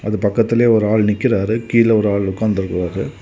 அது பக்கத்துலயே ஒரு ஆள் நிக்குறாரு கீழ ஒரு ஆள் உட்கார்ந்திருக்கிறாரு.